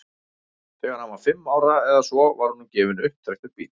þegar hann var fimm ára eða svo var honum gefinn upptrekktur bíll